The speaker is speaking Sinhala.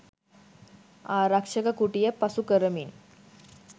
ආරක්ෂක කුටිය පසු කරමින්